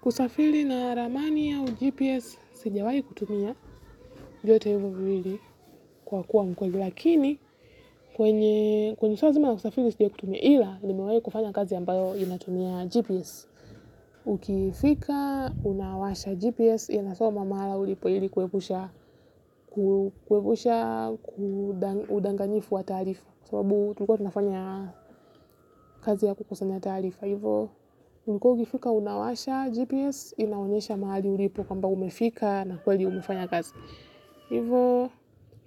Kusafiri na ramani ya gps, sijawahi kutumia, vyote hivyo viwili, kwa kuwa mkweli, lakini, kwenye, shazma ya usafiri, sijawahi kutumia ila, nimewahi kufanya kazi ambayo inatumia gps. Ukifika unawasha gps inasoma mahali ulipo ili kuepusha udanganyifu wa taarifa kwa sababu tulikuwa tunafanya kazi ya kukusanya taarifa hivyo ulikua ukifika unawasha GPS inaonesha mahali ulipo kwamba umefika na kweli umefanya kazi, hivyo